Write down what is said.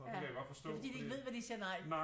Og det kan jeg godt forstå